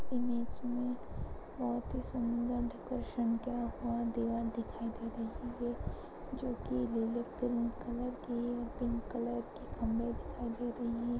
इस इमेज में बहोत ही सुंदर डेकरेशन किया हुआ दीवार दिखाई दे रही है जोकि लिली पिंक कलर की है। पिंक कलर के खंबे दिखाई दे रही हैं।